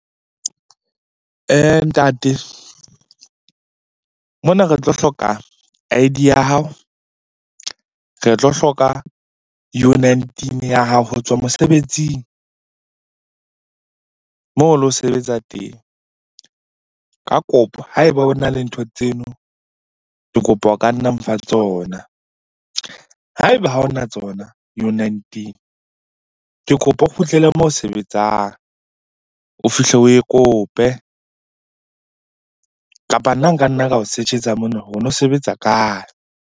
Ntate, mona re tlo hloka I_D ya hao, re tlo hloka U-nineteen ya hao ho tswa mosebetsing moo o lo sebetsa teng. Ka kopo ha e ba o na le ntho tseno, ke kopa o ka nna mfa tsona. Ha e ba ha o na tsona yona U-nineteen, ke kopa o kgutlele moo ho sebetsang o fihle oe kope. Kapa nna nka nna ka o search-etsa mona no sebetsa kae?